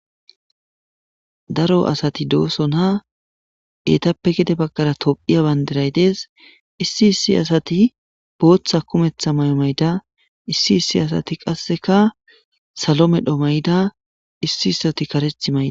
Daro asati doosona etappe gede baqaara tophiya bandiray dees. Issi issi asati bootha kumetha mayo mayida issi issi asati qasseka salo medho mayida issi issoti karethi mayi